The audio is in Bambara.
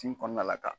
Tin kɔnɔna la ka